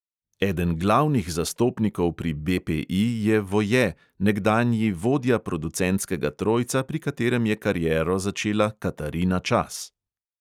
Eden glavnih zastopnikov pri BPI je voje, nekdanji vodja producentskega trojca, pri katerem je kariero začela katarina čas.